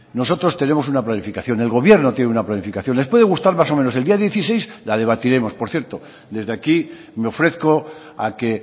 nosotros tenemos un planificación el gobierno tiene una planificación les puede gustar más o menos el día dieciséis la debatiremos por cierto desde aquí me ofrezco a que